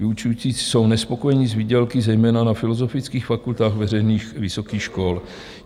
Vyučující jsou nespokojeni s výdělky zejména na filozofických fakultách veřejných vysokých škol.